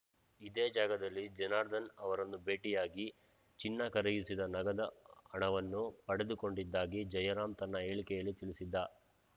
ಇದೇ ಜಾಗದಲ್ಲಿ ಜನಾರ್ದನ್‌ ಅವರನ್ನು ಭೇಟಿಯಾಗಿ ಚಿನ್ನ ಕರಗಿಸಿದ ನಗದ ಹಣವನ್ನು ಪಡೆದುಕೊಂಡಿದ್ದಾಗಿ ಜಯರಾಂ ತನ್ನ ಹೇಳಿಕೆಯಲ್ಲಿ ತಿಳಿಸಿದ್ದ